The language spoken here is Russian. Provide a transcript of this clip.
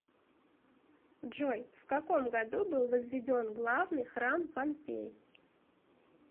джой в каком году был возведен главный храм помпей